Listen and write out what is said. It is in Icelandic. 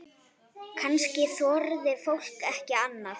Kannski þorði fólk ekki annað?